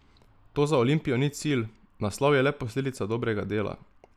To za Olimpijo ni cilj, naslov je le posledica dobrega dela.